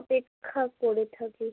অপেক্ষা করে থাকি।